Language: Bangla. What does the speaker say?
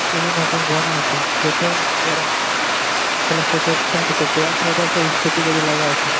সিড়ির মতো বানা আছে ।যাতে এরা অর সাইড এ একটা ইস্কুটি গাড়ি লাগা আছে।